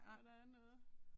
Når der er noget